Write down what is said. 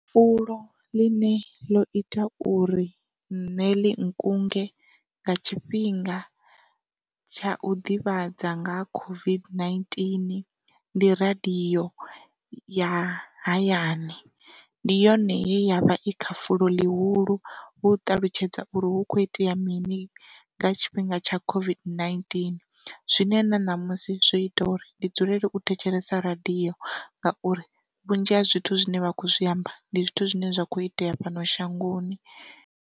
Fulo ḽine ḽo ita uri nṋe ḽi nkunge nga tshifhinga tsha u ḓivhadza nga COVID-19 ndi radio ya hayani, ndi yone ye yavha i kha fulo ḽihulu u ṱalutshedza uri hu kho itea mini nga tshifhinga tsha COVID-19, zwine na ṋamusi zwo ita uri ndi dzulele u thetshelesa radio ngauri vhunzhi ha zwithu zwine vha kho zwiamba ndi zwithu zwine zwa kho itea fhano shangoni.